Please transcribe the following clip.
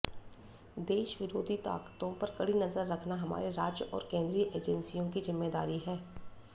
देश विरोधी ताकतों पर कड़ी नजर रखना हमारे राज्य और केंद्रीय एजेंसियों की जिम्मेदारी है